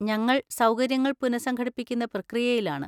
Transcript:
ഞങ്ങൾ സൗകര്യങ്ങൾ പുനഃസംഘടിപ്പിക്കുന്ന പ്രക്രിയയിലാണ്.